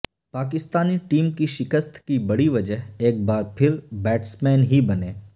Pakistani team کی شکست کی بڑی وجہ ایک بار پھر بیٹسمین ہی بنے